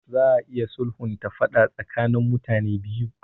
Za a iya sulhunta faɗa tsakanin mutane biyu.